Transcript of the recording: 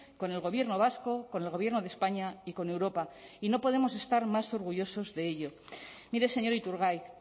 con el gobierno vasco con el gobierno de españa y con europa y no podemos estar más orgullosos de ello mire señor iturgaiz